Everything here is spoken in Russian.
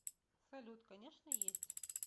салют конечно есть